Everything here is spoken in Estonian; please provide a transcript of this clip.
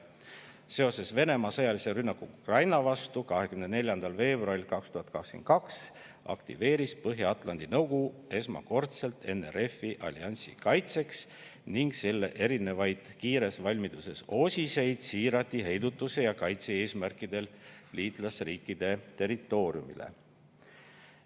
Seoses Venemaa sõjalise rünnakuga Ukraina vastu 24. veebruaril 2022 aktiveeris Põhja-Atlandi Nõukogu esmakordselt NRF-i alliansi kaitseks ning selle erinevaid kiires valmiduses osiseid siirati heidutuse ja kaitse eesmärkidel liitlasriikide territooriumile.